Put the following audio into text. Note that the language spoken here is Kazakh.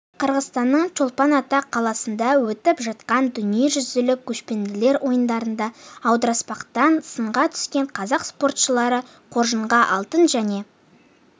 қырғызстанның чолпан-ата қаласында өтіп жатқан дүниежүзілік көшпенділер ойындарында аудырыспақтан сынға түскен қазақ спортшылары қоржынға алтын және